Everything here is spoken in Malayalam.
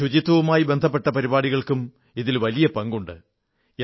ശുചിത്വവുമായി ബന്ധപ്പെട്ട പരിപാടികൾക്കും ഇതിൽ വലിയ പങ്കുണ്ട്